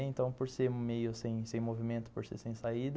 Então, por ser meio sem sem movimento, por ser sem saída,